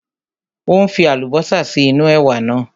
Ó ń fi Àlùbọ́sà sí inú ẹ̀wà náà